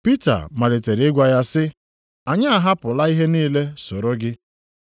Pita malitere ịgwa ya sị, “Anyị ahapụla ihe niile soro gị!”